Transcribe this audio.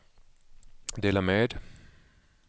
dela med